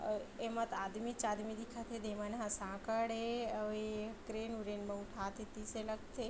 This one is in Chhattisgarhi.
अउ एमा त आदमी च आदमी दिखत हे दे मन ह साकड़ ए अउ ए क्रेन वेरेन म उठाथे तीसे लगथे।